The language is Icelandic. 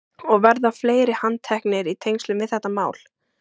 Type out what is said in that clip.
Og verða fleiri handteknir í tengslum við þetta mál?